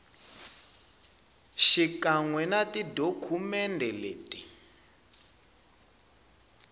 xikan we na tidokumende leti